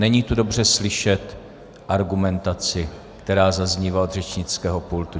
Není tu dobře slyšet argumentaci, která zaznívá od řečnického pultu.